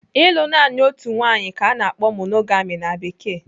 Ịlụ naanị otu nwaanyị ka ana akpọ 'monogami' na Bekee.